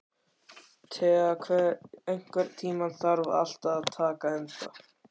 Thea, einhvern tímann þarf allt að taka enda.